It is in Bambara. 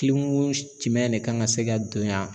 jumɛn de kan ŋa se ka don yan?